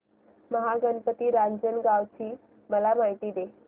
महागणपती रांजणगाव ची मला माहिती दे